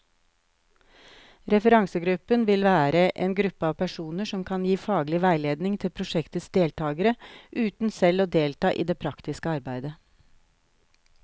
Referansegruppen vil være en gruppe av personer som kan gi faglig veiledning til prosjektets deltagere, uten selv å delta i det praktiske arbeidet.